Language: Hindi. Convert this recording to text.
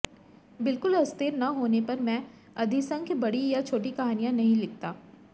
बिल्कुल अस्थिर न होने पर मैं अधिसंख्य बड़ी या छोटी कहानियां नहीं लिखता